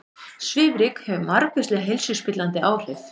Svifryk hefur margvísleg heilsuspillandi áhrif